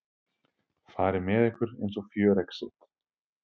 fari með ykkur eins og fjöregg sitt.